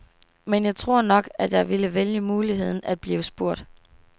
Men jeg tror nok, at jeg ville vælge muligheden at blive spurgt.